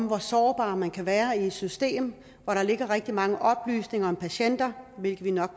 hvor sårbar man kan være i et system hvor der ligger rigtig mange oplysninger om patienter hvilket vi nok